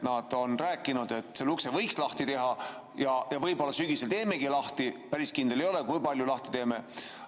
Nad on rääkinud, et selle ukse võiks lahti teha ja võib-olla sügisel teemegi lahti, aga päris kindel ei ole, kui palju lahti teeme.